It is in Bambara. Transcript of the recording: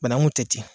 Banangun tɛ ten